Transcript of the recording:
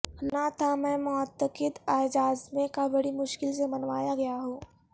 نہ تھا میں معتقد اعجازمے کا بڑی مشکل سے منوایا گیا ہوں